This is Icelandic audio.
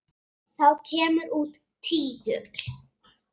Þá kemur út tígull.